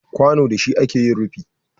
Kwano da shi ake yin rufi